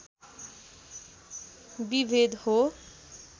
विभेद हो